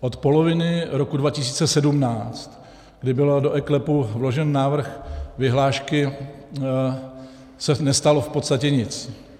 Od poloviny roku 2017, kdy byl do eKLEPu vložen návrh vyhlášky, se nestalo v podstatě nic.